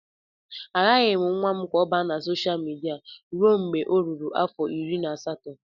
Agaghị m nwa m ka ọ banye sosha midia ruo mgbe ọ ruru afọ iri na asatọ